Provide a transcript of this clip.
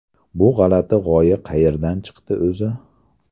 Bu g‘alati g‘oya qayerdan chiqdi o‘zi?